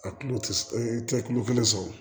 A tulo tɛ s e tɛ kulo kelen sɔrɔ